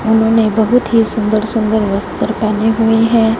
उन्होंने बहुत ही सुंदर सुंदर वस्त्र पहने हुए हैं।